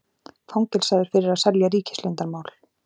Fangelsaður fyrir að selja ríkisleyndarmál